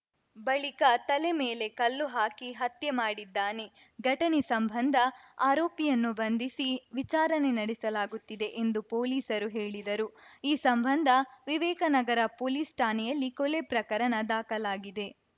ಬಳಿಕ ತಲೆ ಮೇಲೆ ಕಲ್ಲು ಹಾಕಿ ಹತ್ಯೆ ಮಾಡಿದ್ದಾನೆ ಘಟನೆ ಸಂಬಂಧ ಆರೋಪಿಯನ್ನು ಬಂಧಿಸಿ ವಿಚಾರಣೆ ನಡೆಸಲಾಗುತ್ತಿದೆ ಎಂದು ಪೊಲೀಸರು ಹೇಳಿದರು ಈ ಸಂಬಂಧ ವಿವೇಕನಗರ ಪೊಲೀಸ್‌ ಠಾಣೆಯಲ್ಲಿ ಕೊಲೆ ಪ್ರಕರಣ ದಾಖಲಾಗಿದೆ